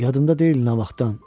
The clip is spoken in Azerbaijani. Yadımda deyil, nə vaxtdan.